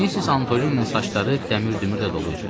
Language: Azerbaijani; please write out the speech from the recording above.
Missis Antolininin saçları dəmir dümürlə dolu idi.